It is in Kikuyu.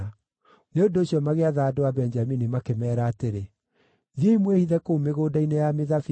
Nĩ ũndũ ũcio magĩatha andũ a Benjamini, makĩmeera atĩrĩ, “Thiĩi mwĩhithe kũu mĩgũnda-inĩ ya mĩthabibũ